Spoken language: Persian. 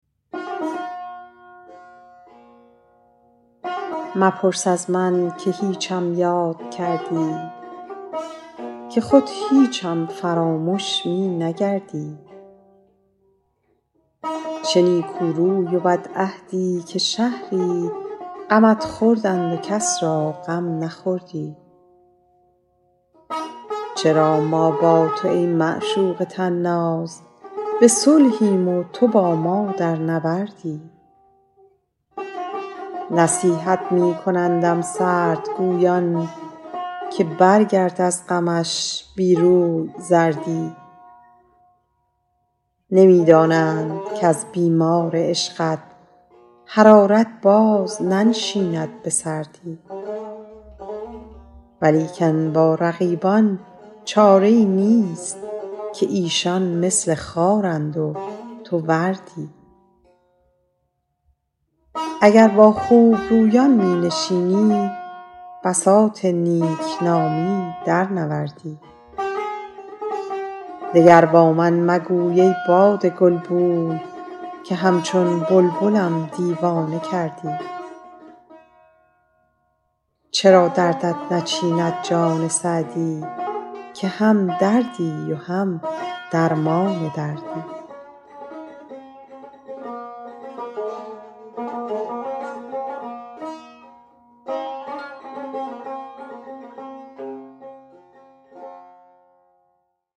مپرس از من که هیچم یاد کردی که خود هیچم فرامش می نگردی چه نیکو روی و بدعهدی که شهری غمت خوردند و کس را غم نخوردی چرا ما با تو ای معشوق طناز به صلحیم و تو با ما در نبردی نصیحت می کنندم سردگویان که برگرد از غمش بی روی زردی نمی دانند کز بیمار عشقت حرارت باز ننشیند به سردی ولیکن با رقیبان چاره ای نیست که ایشان مثل خارند و تو وردی اگر با خوبرویان می نشینی بساط نیک نامی درنوردی دگر با من مگوی ای باد گلبوی که همچون بلبلم دیوانه کردی چرا دردت نچیند جان سعدی که هم دردی و هم درمان دردی